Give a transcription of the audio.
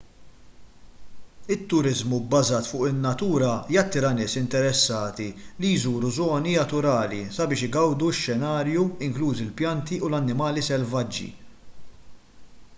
it-turiżmu bbażat fuq in-natura jattira nies interessati li jżuru żoni aturali sabiex igawdu x-xenarju inklużi l-pjanti u l-annimali selvaġġi